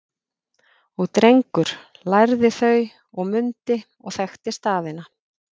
Og Drengur lærði þau og mundi og þekkti staðina